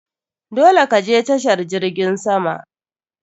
Dole ka je tashar jirgin sama!